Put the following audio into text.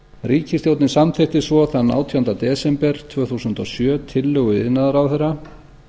ríkisstjórnin samþykkti svo þann átjánda desember tvö þúsund og sjö tillögu iðnaðarráðherra